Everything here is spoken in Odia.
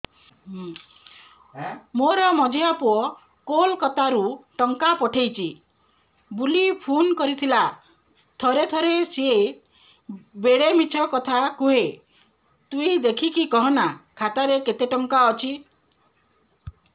ମୋର ମଝିଆ ପୁଅ କୋଲକତା ରୁ ଟଙ୍କା ପଠେଇଚି ବୁଲି ଫୁନ କରିଥିଲା ଥରେ ଥରେ ସିଏ ବେଡେ ମିଛ କଥା କୁହେ ତୁଇ ଦେଖିକି କହନା ଖାତାରେ କେତ ଟଙ୍କା ଅଛି